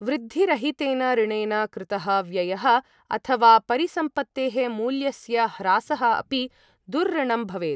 वृद्धिरहितेन ऋणेन कृतः व्ययः अथवा परिसम्पत्तेः मूल्यस्य ह्रासः अपि दुर्ऋणं भवेत्।